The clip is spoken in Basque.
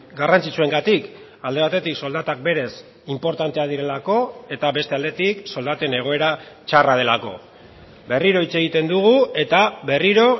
garrantzitsuengatik alde batetik soldatak berez inportanteak direlako eta beste aldetik soldaten egoera txarra delako berriro hitz egiten dugu eta berriro